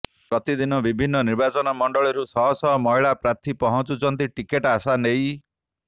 ପ୍ରତିଦିନ ବିଭିନ୍ନ ନିର୍ବାଚନ ମଣ୍ଡଳୀରୁ ଶହ ଶହ ମହିଳା ପ୍ରାର୍ଥୀ ପହଞ୍ଚୁଛନ୍ତି ଟିକେଟ୍ ଆଶା ନେଇ